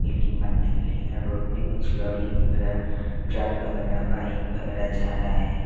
Building बनने के लिए रोड में कुछ लौड़ी वैगैरा ट्रक वगैरा बाइक वगैरा जा रहा है।